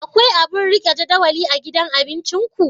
Akwai abun rike jadawali a gidan cin abinciku?